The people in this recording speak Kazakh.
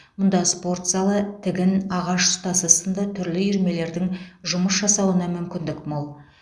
мұнда спорт залы тігін ағаш ұстасы сынды түрлі үйірмелердің жұмыс жасауына мүмкіндік мол